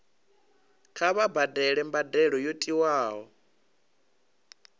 kha vha badele mbadelo yo tiwaho